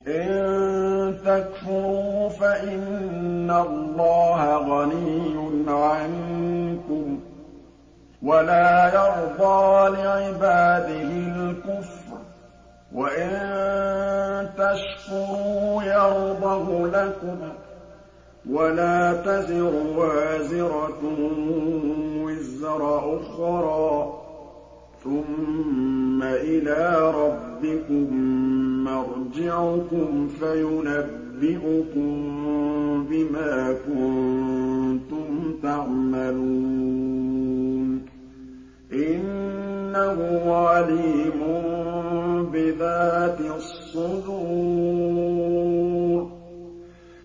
إِن تَكْفُرُوا فَإِنَّ اللَّهَ غَنِيٌّ عَنكُمْ ۖ وَلَا يَرْضَىٰ لِعِبَادِهِ الْكُفْرَ ۖ وَإِن تَشْكُرُوا يَرْضَهُ لَكُمْ ۗ وَلَا تَزِرُ وَازِرَةٌ وِزْرَ أُخْرَىٰ ۗ ثُمَّ إِلَىٰ رَبِّكُم مَّرْجِعُكُمْ فَيُنَبِّئُكُم بِمَا كُنتُمْ تَعْمَلُونَ ۚ إِنَّهُ عَلِيمٌ بِذَاتِ الصُّدُورِ